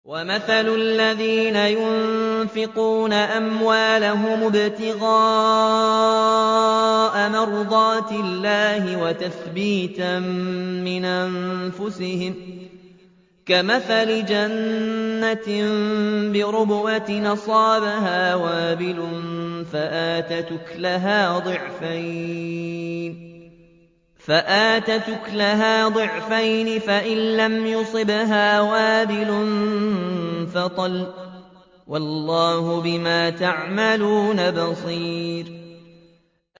وَمَثَلُ الَّذِينَ يُنفِقُونَ أَمْوَالَهُمُ ابْتِغَاءَ مَرْضَاتِ اللَّهِ وَتَثْبِيتًا مِّنْ أَنفُسِهِمْ كَمَثَلِ جَنَّةٍ بِرَبْوَةٍ أَصَابَهَا وَابِلٌ فَآتَتْ أُكُلَهَا ضِعْفَيْنِ فَإِن لَّمْ يُصِبْهَا وَابِلٌ فَطَلٌّ ۗ وَاللَّهُ بِمَا تَعْمَلُونَ بَصِيرٌ